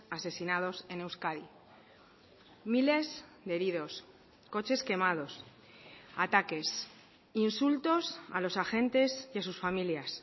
asesinados en euskadi miles de heridos coches quemados ataques insultos a los agentes y a sus familias